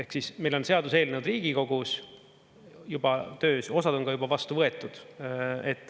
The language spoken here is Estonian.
Ehk siis meil on seaduseelnõud Riigikogus juba töös, osad on ka juba vastu võetud.